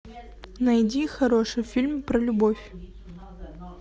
найди хороший фильм про любовь